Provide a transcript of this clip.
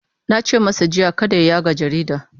Na ce masa jiya kada ya yaga jarida!